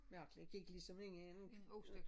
Mærkelig jeg gik ligesom ind i en